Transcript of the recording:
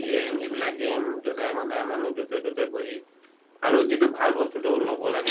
game এইবিলাক game যধাই মধাই মানুহ যʼতে তʼতে বহি আৰু যিটো ভাল বস্তুটো লʼব লাগে